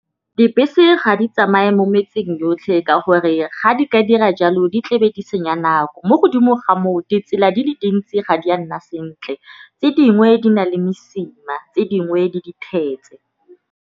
Dibese ga di tsamaye mo metseng yotlhe ka gore ga di ka dira jalo di tlebe di senya nako. Mo godimo ga moo ditsela di le dintsi ga di a nna sentle tse dingwe di na le mesima tse dingwe di .